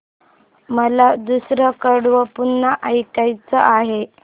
मला दुसरं कडवं पुन्हा ऐकायचं आहे